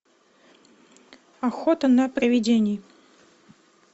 охота на привидений